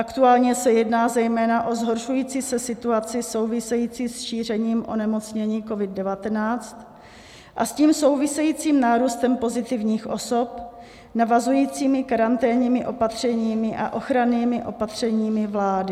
Aktuálně se jedná zejména o zhoršující se situaci související se šířením onemocnění COVID-19 a s tím souvisejícím nárůstem pozitivních osob, navazujícími karanténními opatřeními a ochrannými opatřeními vlády.